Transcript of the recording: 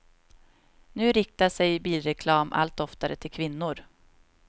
Nu riktar sig bilreklam allt oftare till kvinnor.